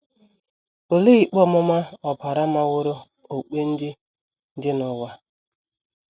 Olee ikpe ọmụma ọbara maworo okpukpe ndị dị n’ụwa?